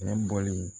Nɛgɛ bɔlen